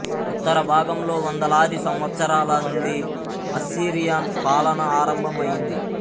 ఉత్తర భాగంలో వందలాది సంవత్సరాల నుండి అస్సిరియన్ పాలన ఆరంభం అయింది